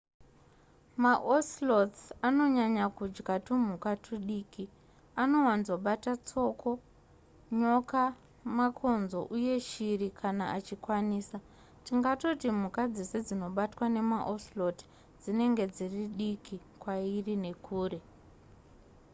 maocelots anonyanya kudya tumhuka tudiki anowanzobata tsoko nyoka makonzo uye shiri kana achikwanisa tingatoti mhuka dzese dzinobatwa nemaocelot dzinenge dziri diki kwairi nekure